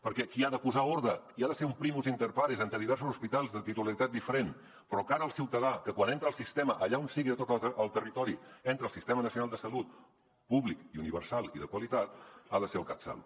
perquè qui ha de posar ordre i ha de ser un primus inter pares entre diversos hospitals de titularitat diferent però de cara al ciutadà que quan entra al sistema allà on sigui de tot el territori entra al sistema nacional de salut públic universal i de qualitat ha de ser el catsalut